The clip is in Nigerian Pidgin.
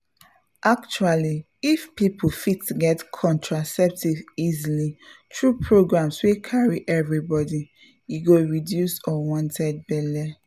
actually if people fit get contraceptives easily through programs wey carry everybody e go reduce unwanted belle